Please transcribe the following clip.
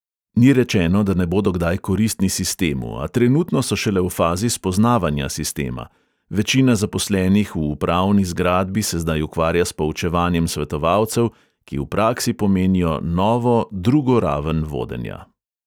Ni rečeno, da ne bodo kdaj koristni sistemu, a trenutno so šele v fazi spoznavanja sistema, večina zaposlenih v upravni zgradbi se zdaj ukvarja s poučevanjem svetovalcev, ki v praksi pomenijo novo drugo raven vodenja.